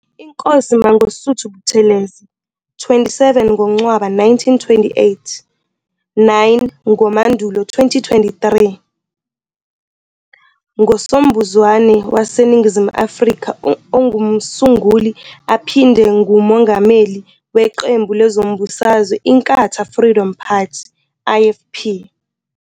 Inkosi Mangosuthu Buthelezi, 27 ngoNcwaba 1928 - 9 ngoMandulo 2023, ngosombusazwe waseNingizimu Afrika ongumsunguli aphinde ngumongameli weqembu lezombusazwe Inkatha Freedom Party, IFP.